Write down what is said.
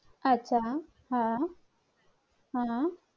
अच्चा हा हा